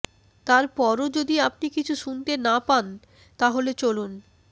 তারপরও যদি আপনি কিছু শুনতে না পান তাহলে চলুন